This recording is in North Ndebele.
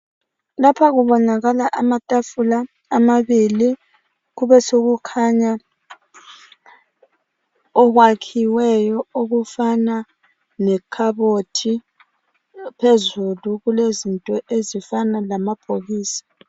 Lapha kubonakala amatafula amabili kubesekukhanya okwakhiweyo okufana lekhabothi phezulu kulezinto ezifana lamabhokisi.